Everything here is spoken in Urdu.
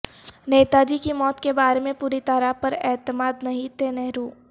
نیتا جی کی موت کے بارے میں پوری طرح پر اعتماد نہیں تھے نہرو